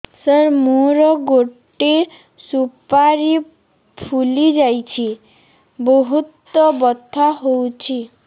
ସାର ମୋର ଗୋଟେ ସୁପାରୀ ଫୁଲିଯାଇଛି ବହୁତ ବଥା ହଉଛି